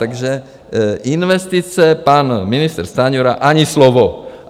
Takže investice - pan ministr Stanjura, ani slovo.